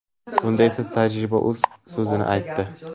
Bunda esa, tajriba o‘z so‘zini aytdi.